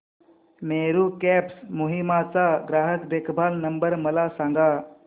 Meru cabs Kohima चा ग्राहक देखभाल नंबर मला सांगा